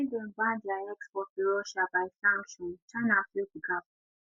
wen dem ban dia export to russia by sanction china fill di gap